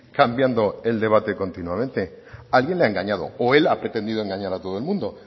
cambiando el debate continuamente alguien le ha engañado o él ha pretendido engañar a todo el mundo